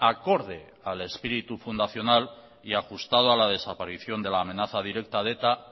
acorde al espíritu fundacional y ajustado a la desaparición de la amenaza directa de eta